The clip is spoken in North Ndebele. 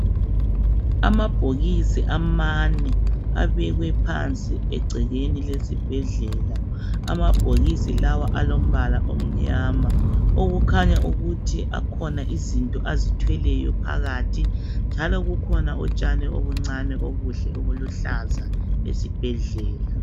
Amabhokisi amane abekwe phansi egcekeni lesibhedlela .Amabhokisi lawa alombala omnyama okukhanya ukuthi akhona izinto azithweleyo phakathi njalo kukhona utshani obuncani obuhle obuluhlaza esibhedlela.